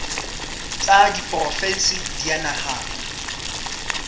tsa diporofensi di a nahanwa